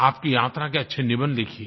आपकी यात्रा के अच्छे निबंध लिखिए